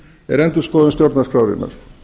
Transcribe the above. er endurskoðun stjórnarskrárinnar